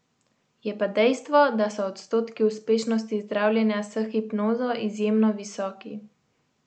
Je pa dejstvo, da so odstotki uspešnosti zdravljenja s hipnozo izjemno visoki.